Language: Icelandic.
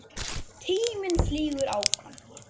Tíminn flýgur áfram.